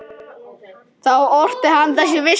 Þá orti hann þessa vísu